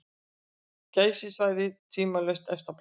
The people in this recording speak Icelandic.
Geysissvæðið tvímælalaust efst á blaði.